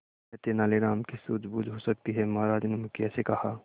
यह तेनालीराम की सूझबूझ हो सकती है महाराज ने मुखिया से कहा